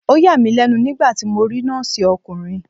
Ó yà mí lẹ́nu nígbàtí mo rí Nọ́ọ̀sì ọkùnrin.